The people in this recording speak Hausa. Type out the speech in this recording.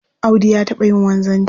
Audu ya taɓa yin wanzanci